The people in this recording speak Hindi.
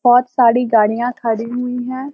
बहोत सारी गाड़ियां खड़ी हुई हैं।